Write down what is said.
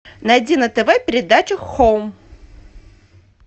найди на тв передачу хоум